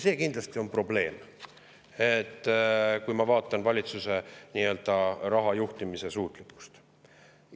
See kindlasti on probleem, kui ma vaatan valitsuse nii-öelda rahajuhtimise suutlikkust.